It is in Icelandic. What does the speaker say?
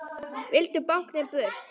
Vildu báknið burt.